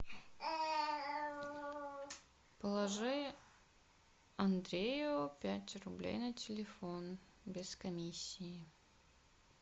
положи андрею пять рублей на телефон без комиссии